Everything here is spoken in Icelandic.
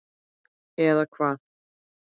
Eða Hvað?